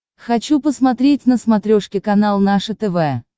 хочу посмотреть на смотрешке канал наше тв